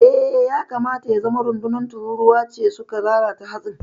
Eh, ya kamata ya zama rundunar tururuwa ne suka lalata hatsin.